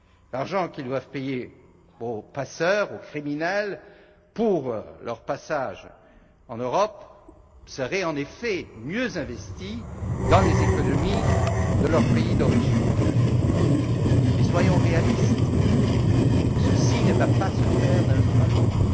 L'argent qu'ils doivent verser aux passeurs, aux criminels pour leur passage en Europe serait en effet mieux investi dans les économies de leur pays d'origine. Mais soyons réalistes, cela ne va pas se faire d'un jour à l'autre!